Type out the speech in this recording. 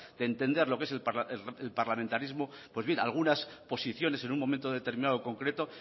de entender lo que es el parlamentarismo pues bien algunas posiciones en un momento determinado concreto